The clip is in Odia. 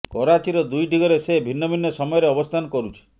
କରାଚୀର ଦୁଇଟି ଘରେ ସେ ଭିନ୍ନ ଭିନ୍ନ ସମୟରେ ଅବସ୍ଥାନ କରୁଛି